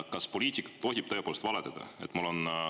Kas poliitik tohib tõepoolest valetada?